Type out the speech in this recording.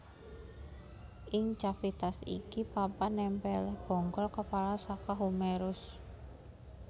Ing cavitas iki papan nèmpèlé bonggol kepala saka humerus